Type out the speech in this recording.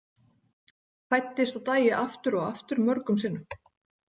Fæddist og dæi aftur og aftur, mörgum sinnum.